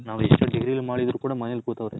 ನಾವ್ ಎಷ್ಟೋ degree ಗಳ್ ಮಾಡಿದ್ರು ಮನೇಲ್ ಕೊತವ್ರೆ.